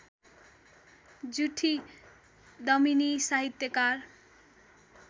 जुठी दमिनी साहित्यकार